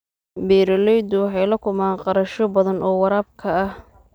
Beeraleydu waxay la kulmaan kharashyo badan oo waraabka ah.